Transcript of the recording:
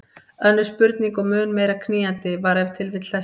Önnur spurning og mun meira knýjandi var ef til vill þessi